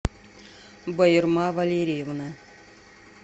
баирма валерьевна